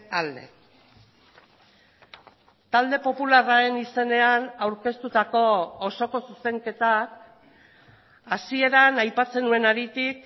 alde talde popularraren izenean aurkeztutako osoko zuzenketak hasieran aipatzen nuen haritik